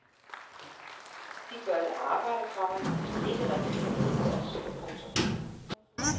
De gør et arbejde, komma som ikke rigtig kan undværes. punktum